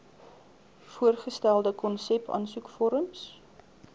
voorgestelde konsep aansoekvorms